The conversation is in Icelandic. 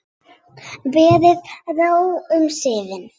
Verður ró um siðinn?